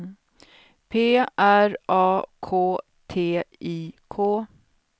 P R A K T I K